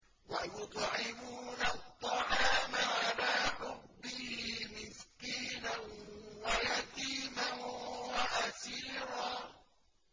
وَيُطْعِمُونَ الطَّعَامَ عَلَىٰ حُبِّهِ مِسْكِينًا وَيَتِيمًا وَأَسِيرًا